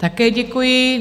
Také děkuji.